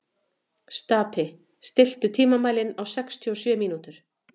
Stapi, stilltu tímamælinn á sextíu og sjö mínútur.